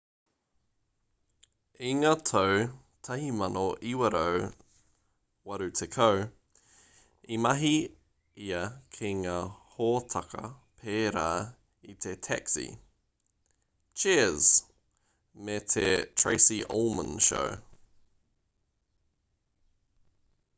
i ngā tau 1980 i mahi ia ki ngā hōtaka pērā i te taxi cheers me te tracy ullman show